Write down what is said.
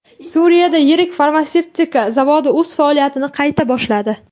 Suriyada yirik farmatsevtika zavodi o‘z faoliyatini qayta boshladi.